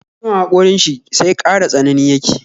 Ciwon haƙorin shi sai ƙara tsanani yake